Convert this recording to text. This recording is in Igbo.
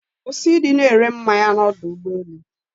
Kwụsị ịdị na-ere mmanya n'ọdọ ụgbọelu.